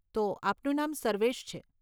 તો આપનું નામ સર્વેશ છે.